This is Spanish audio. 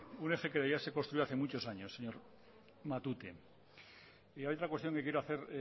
un eje que debía ser construido hace muchos años señor matute y hay otra cuestión que quiero hacer